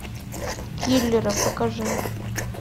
киллеры покажи